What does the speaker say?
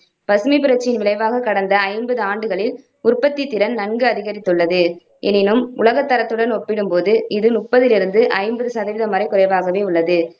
பசுமைப்புரட்சியின் விளைவாக கடந்த ஐம்பது ஆண்டுகளில் உற்பத்தித்திறன் நன்கு அதிகரித்துள்ளது. எனினும் உலகத்தரத்துடன் ஒப்பிடும்போது இது முப்பதிலிருந்து ஐம்பது சதவீதம் வரை குறைவாகவே உள்ளது.